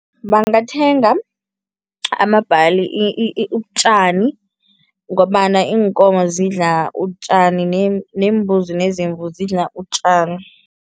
Bangathenga amabhali ubutjani ngombana iinkomo zidla utjani neembuzi nezimvu zidla utjani.